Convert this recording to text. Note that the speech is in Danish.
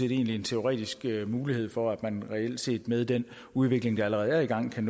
en teoretisk mulighed for at man reelt set med den udvikling der allerede er i gang kan